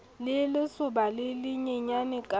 le lesoba le lenyenyane ka